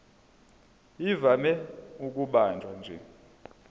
ivame ukubanjwa nje